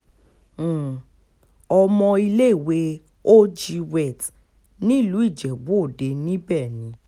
um ọmọ iléèwé og wealth nílùú ijebu-òde níbẹ̀ ni